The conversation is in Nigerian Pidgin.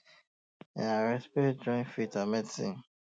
um na respect join faith and medicine